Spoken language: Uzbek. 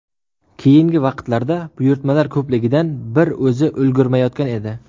Keyingi vaqtlarda buyurtmalar ko‘pligidan bir o‘zi ulgurmayotgan edi.